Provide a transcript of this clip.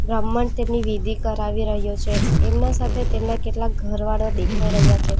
બ્રાહ્મણ તેમની વિધિ કરાવી રહ્યો છે એમના સાથે તેમના કેટલાક ઘરવાળા દેખાઈ રહ્યા છે.